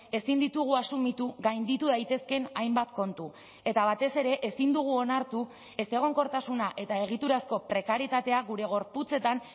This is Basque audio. ezin ditugu asumitu gainditu daitezkeen hainbat kontu eta batez ere ezin dugu onartu ezegonkortasuna eta egiturazko prekarietatea gure gorputzetan